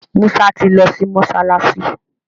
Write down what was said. Musa ti ló sí mọsalasi.